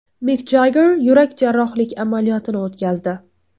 Mik Jagger yurak jarrohlik amaliyotini o‘tkazdi.